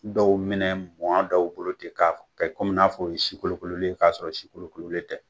Dɔw minɛ mɔɔ dɔw bolo ten k'a ka komi n'a fɔ o sikolokolen k'a sɔrɔ sikolokololen tɛ